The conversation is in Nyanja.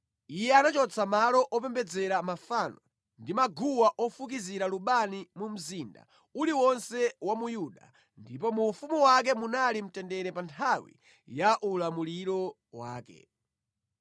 Iye anachotsa malo opembedzera mafano ndi maguwa ofukizira lubani mu mzinda uliwonse wa mu Yuda, ndipo mu ufumu wake munali mtendere pa nthawi ya ulamuliro wake.